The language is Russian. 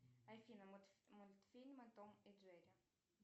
афина мультфильмы том и джерри